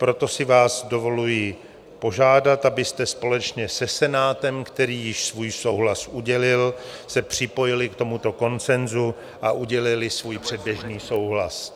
Proto si vás dovoluji požádat, abyste společně se Senátem, který již svůj souhlas udělil, se připojili k tomuto konsenzu a udělili svůj předběžný souhlas.